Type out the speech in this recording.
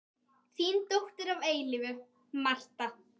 Þín dóttir að eilífu, Marta.